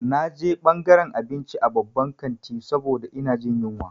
Na je ɓangaran abinci a babban kanti saboda ina jin yunwa.